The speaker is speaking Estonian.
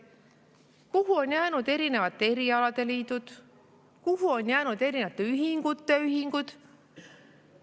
Kuhu on jäänud erinevate erialade liidud, kuhu on jäänud erinevate ühingute ühingud?